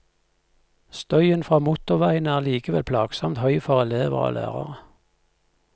Støyen fra motorveien er allikevel plagsomt høy for elever og lærere.